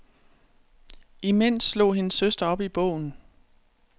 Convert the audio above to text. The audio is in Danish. Imens slog hendes søster op i bogen.